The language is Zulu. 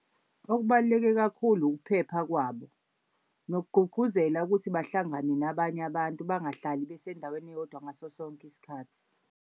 Okubaluleke kakhulu ukuphepha kwabo nokugqugquzela ukuthi bahlangane nabanye abantu, bangahlali besendaweni eyodwa ngaso sonke isikhathi.